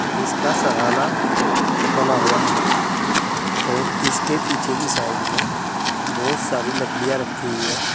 जिसका सराहना बना हुआ है और इसके पीछे की साइड में बहुत सारी लकड़ियां रखी हुई है।